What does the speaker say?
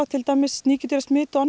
til dæmis